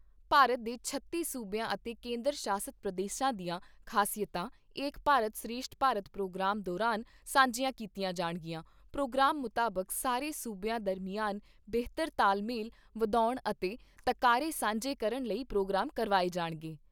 ਭਾਰਤ ਦੇ ਛੱਤੀ ਸੂਬਿਆਂ ਅਤੇ ਕੇਂਦਰ ਸ਼ਾਸਤ ਪ੍ਰਦੇਸ਼ਾਂ ਦੀਆਂ ਖਾਸਿਅਤਾਂ ਏਕ ਭਾਰਤ ਸ਼੍ਰੇਸ਼ਠ ਭਾਰਤ ਪ੍ਰੋਗਰਾਮ ਦੌਰਾਨ ਸਾਂਝੀਆਂ ਕੀਤੀਆਂ ਜਾਣਗੀਆਂ ਪ੍ਰੋਗਰਾਮ ਮੁਤਾਬਕ ਸਾਰੇ ਸੂਬਿਆਂ ਦਰਮਿਆਨ ਬੇਹਤਰ ਤਾਲਮੇਲ ਵਧਾਉਣ ਅਤੇ ਤਕਾਰੇ ਸਾਂਝੇ ਕਰਨ ਲਈ ਪ੍ਰੋਗਰਾਮ ਕਰਵਾਏ ਜਾਣਗੇ।